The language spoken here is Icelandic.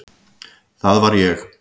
Það var ég.